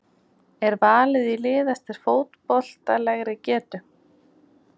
Er valið í lið eftir fótboltalegri getu?